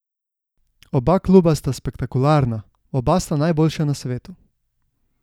Oba kluba sta spektakularna, oba sta najboljša na svetu.